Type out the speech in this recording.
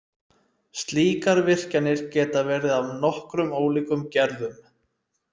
Slíkar virkjanir geta verið af nokkrum ólíkum gerðum.